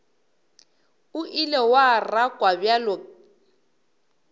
o ile wa rakwa bjalo